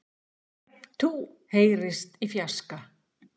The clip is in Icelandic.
Hep tú heyrist í fjarska.